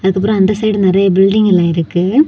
அப்புறம் அந்த சைடு நறைய பில்டிங் எல்லா இருக்கு.